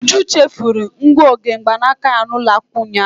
Uju chefuru ngụoge mgbanaka ya n'ụlọ akwụkwọ ụnyaahụ.